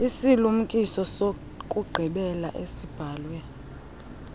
isilumkiso sokugqibela esibhalwe